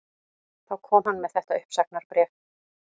Þá kom hann með þetta uppsagnarbréf